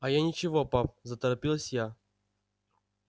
а я ничего пап заторопилась я